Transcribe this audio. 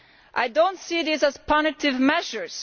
I do not see these as punitive measures.